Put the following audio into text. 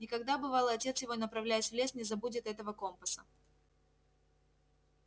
никогда бывало отец его направляясь в лес не забудет этого компаса